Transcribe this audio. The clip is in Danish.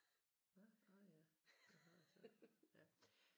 Hvad nåh ja det har jeg sagt ja